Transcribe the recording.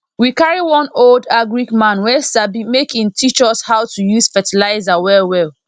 we carry one old agric man wey sabi make en teach us how to use fertilizer well well